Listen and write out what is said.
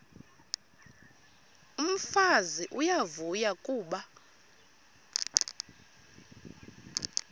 umfazi uyavuya kuba